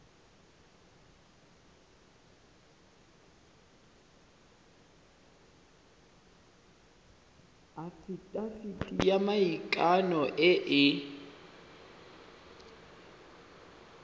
afitafiti ya maikano e e